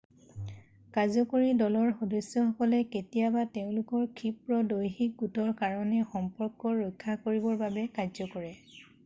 কাৰ্যকৰী দলৰ সদস্যসকলে কেতিয়াবা তেওঁলোকৰ ক্ষীপ্ৰ দৈহিক গোটৰ কাৰণে সম্পৰ্ক ৰক্ষা কৰিবৰ বাবে কাৰ্য কৰে